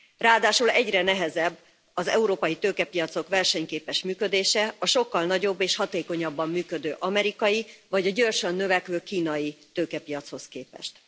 Ráadásul egyre nehezebb az európai tőkepiacok versenyképes működése, a sokkal nagyobb és hatékonyabban működő amerikai, vagy a gyorsan növekvő kínai tőkepiachoz képest.